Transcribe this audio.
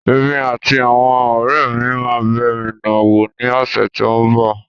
Èmi àti àwọn ọ̀rẹ́ mi máa bẹ miná wò ní ọ̀sẹ́ tí ń bọ̀.